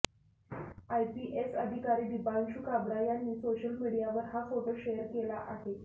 IPS अधिकारी दिपांशू काब्रा यांनी social मीडियावर हा फोटो शेअर केला आहे